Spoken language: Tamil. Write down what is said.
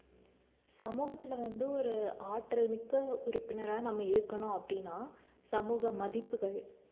சமூகத்துல வந்து ஒரு ஆற்றல் மிக்க உறுப்பினரா நம்ம இருக்கணும் அப்படின்னா சமூக மதிப்புகள்